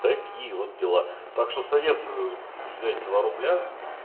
такие вот дела так что советую взять два рубля